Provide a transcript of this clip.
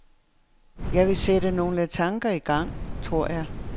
Jeg ville sætte nogle tanker i gang, tror jeg.